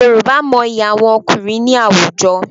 Yorùbá mọyi àwọn ọkùnrin ní àwùjọ.